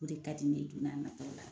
O de ka di ne ye don n'a nataw la.